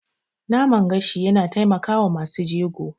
Naman gashi yana taimakawa masu jego.